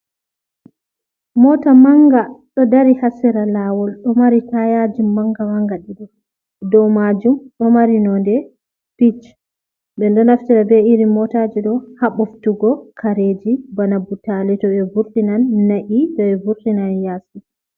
Mota manga ɗo dari ha sera lawol ɗo mari tayaji manga manga ɗiɗo, dou majum ɗo mari nonde pich. Ɓeɗo naftira be iri motaji ɗo ha boftugo kareji bana butali to ɓe vurtinan, na’i to ɓe vurtinan yasi.